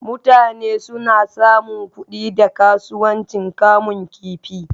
Mutane suna samun kuɗi da kasuwancin kamun kifi.